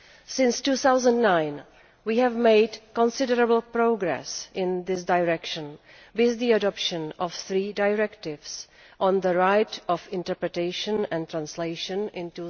Since 2009 we have made considerable progress in this direction, with the adoption of three directives on the right of interpretation and translation in